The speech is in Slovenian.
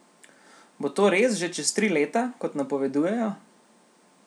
Bo to res že čez tri leta, kot napovedujejo?